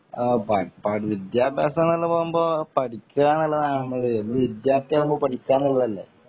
വിദ്യാഭ്യാസം എന്ന് പറയുമ്പോ പഠിക്കാന്നുള്ളതാണ് നമ്മള് ഒരു വിദ്യാർത്ഥി ആകുമ്പോ പഠിക്ക എന്നുള്ളത് അല്ലെ